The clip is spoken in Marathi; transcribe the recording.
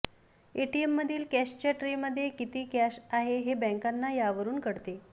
एटीएममधील कॅशच्या ट्रेमध्ये किती कॅश आहे हे बॅंकांना यावरून कळते